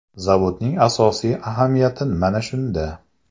Zavodning asosiy ahamiyati mana shunda.